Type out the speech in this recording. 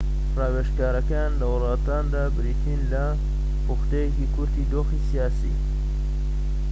ڕاوێژکاریەکان لە وڵاتاندا بریتین لە پوختەیەکی کورتی دۆخی سیاسی